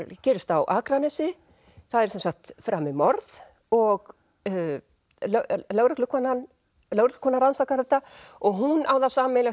gerist á Akranesi það er framið morð og lögreglukona lögreglukona rannsakar þetta og hún á það sameiginlegt